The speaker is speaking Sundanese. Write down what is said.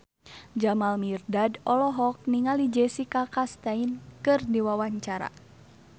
Jamal Mirdad olohok ningali Jessica Chastain keur diwawancara